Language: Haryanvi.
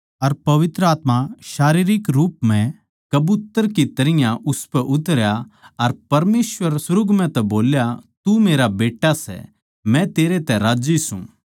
अर पवित्र आत्मा शारीरिक रूप म्ह कबूतर की तरियां उसपै उतरया अर परमेसवर सुर्ग म्ह तै बोल्या तू मेरा प्यारा बेट्टा सै मै तेरतै राज्जी सूं